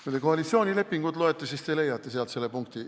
Kui te koalitsioonilepingut loete, siis te leiate sealt selle punkti.